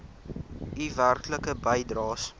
u werklike bydraes